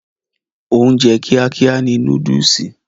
Oúnjẹ kíá kíá ni núdùùsì.